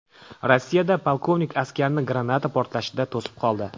Rossiyada polkovnik askarni granata portlashidan to‘sib qoldi.